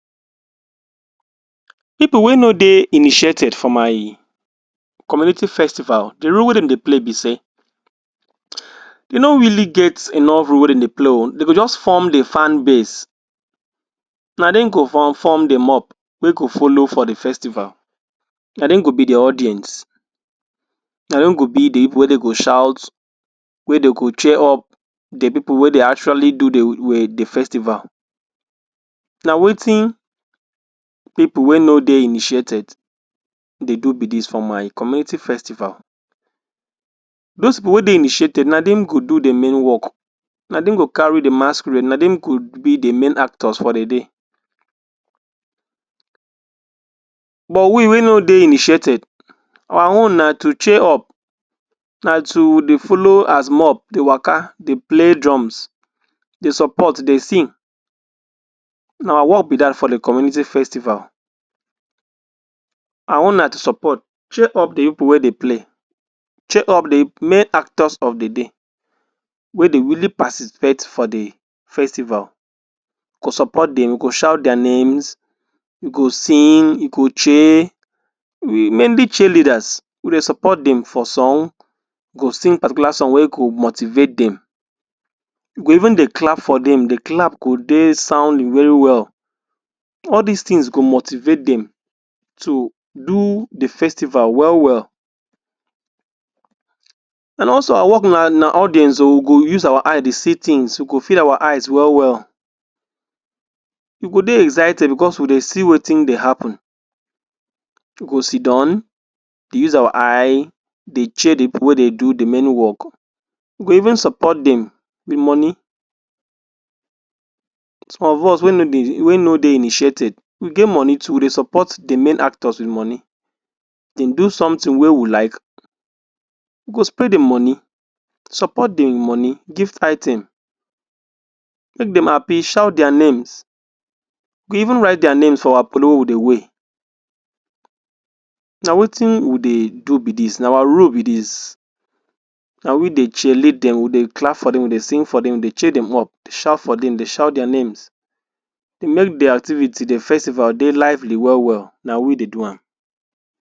Pipu wey no dey initiated for my community festival, de role wey dem dey play be sey, dem no really get enough role wey dem dey play o, dem go just form de fan base. Na dem go form form de mob wey go follow for de festival. Na dem go be de audience. Na dem go be de pipu wey dey go shout, wey dey go cheer up de pipu wey dey actually do de de festival. Na wetin pipu wey no dey initiated dey do be dis for my community festival. Dose pipu wey dey initiated na dem go do main work. Na dem go carry de masquerade. Na dem go be de main actors for de day. But, we wey no dey initiated, our own na to cheer up, na to dey follow as mob dey waka, dey play drums, dey support, dey sing. Na our work be dat for de community festival. Our own na to support, cheer up de pipu wey dey play, cheer up de main actors of de day wey dey really participate for de festival. We go support dem, we go shout their names, we go sing, we go cheer, mainly cheerleaders. We dey support dem for song, we go sing particular song wey go motivate dem. We go even dey clap for dem. De clap go dey sounding well well. All dese things go motivate dem to do de festival well well. And also, our work na na audience o. We go use our eye dey see things. We go fill our eyes well well. We go dey excited because we dey see wetin dey happen. We go sit down, dey use our eye dey cheer de pipu wey dey do de main work. We go even support dem with money. Some of us wey no dey wey no dey initiated, we get money too. We dey support de main actors wit money. Dem do something wey we like, we go spray de money, support dem wit money, gift item, make dem happy, shout their names, we even write their names for our polo wey we dey wear. Na wetin we dey do be dis. Na our role be dis. Na we dey cheerlead dem, we dey clap for dem, we dey sing dem, dey cheer dem up, dey shout for dem, dey shout their names, dey make de activity, de festival dey lively well well. Na we dey do am.